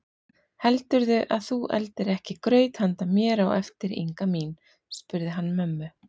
Heldurðu að þú eldir ekki graut handa mér á eftir Inga mín? spurði hann mömmu.